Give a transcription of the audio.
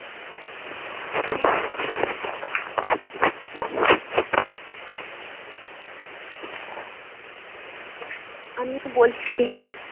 আমি বলছি হ্যাঁ